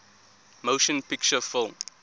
motion picture film